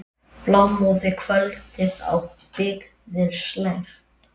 Blámóðu kvöldið á byggðir slær.